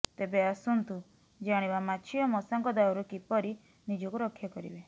ତେବେ ଆସନ୍ତ୍ୁ ଜାଣିବା ମାଛି ଓ ମଶାଙ୍କ ଦାଉରୁ କିପରି ନିଜକୁ ରକ୍ଷା କରିବେ